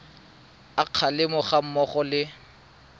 a kgalemo ga mmogo le